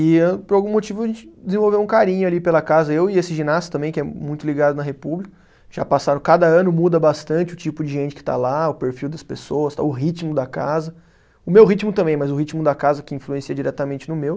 E por algum motivo a gente desenvolveu um carinho ali pela casa, eu e esse ginasta também, que é muito ligado na República, já passaram, cada ano muda bastante o tipo de gente que está lá, o perfil das pessoas, o ritmo da casa, o meu ritmo também, mas o ritmo da casa que influencia diretamente no meu.